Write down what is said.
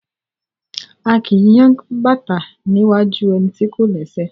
A kì í yang bàtá ní iwájú ẹni tí kò lẹ́sẹ̀.